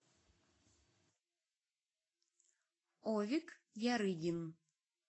овик ярыгин